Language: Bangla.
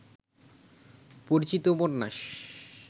পরিচিত উপন্যাস